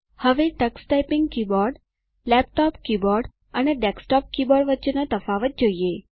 હવે તકસ typing keyboard laptop keyboard અને ડેસ્કટોપ કીબોર્ડ વચ્ચેનો તફાવત જોઈએ